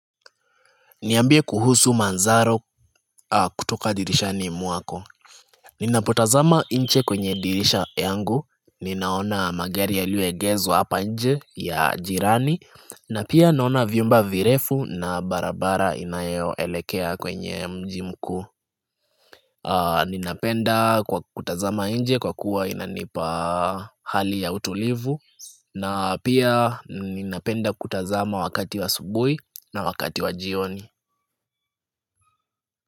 Niambie kuhusu manzaro kutoka dirishani mwako Ninapotazama inche kwenye dirisha yangu, ninaona magari yaliyoegezwa hapa nje ya jirani na pia naona vyumba virefu na barabara inayoelekea kwenye mji mkuu Ninapenda kwa kutazama nje kwa kuwa inanipa hali ya utulivu na pia ninapenda kutazama wakati wa asubui na wakati wa jioni.